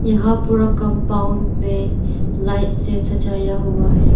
हां पूरा कंपाउंड में लाइट से सजाया हुआ है।